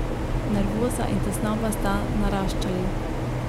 Nervoza in tesnoba sta naraščali.